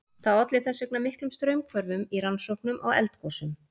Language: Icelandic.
Það olli þess vegna miklum straumhvörfum í rannsóknum á eldgosum.